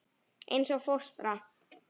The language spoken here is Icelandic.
Eins og fóstra.